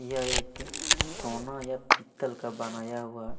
यह एक सोना या पत्तल पीतल का बनाया हुआ हैं।